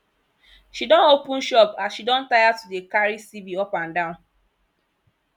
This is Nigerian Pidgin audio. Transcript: she don open shop as she don tire to dey carry cv up and down